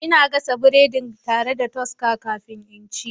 Ina gasa biredina tare da toaster kafin in ci.